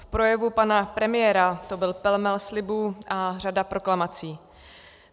V projevu pana premiéra to byl pelmel slibů a řada proklamací.